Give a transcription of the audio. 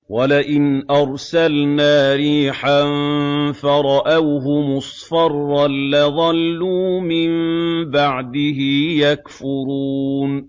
وَلَئِنْ أَرْسَلْنَا رِيحًا فَرَأَوْهُ مُصْفَرًّا لَّظَلُّوا مِن بَعْدِهِ يَكْفُرُونَ